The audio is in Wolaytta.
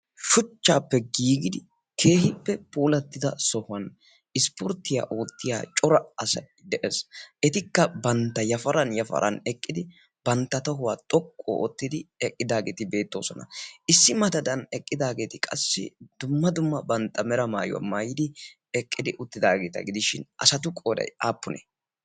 Shuchchaappe giigidi keehippe puulattida sohuwan ispporttiyaa oottiya cora asay de'ees. Etikka bantta yafaran yafaran eqqidi bantta tohuwaa xoqqu oottidi eqqidaageeti beettoosona. Issi madadan eqqidaageeti qassi dumma dumma bantta mera maayuwaa maayidi eqqidi uttidaageeta gidishin asatu qooday aappune?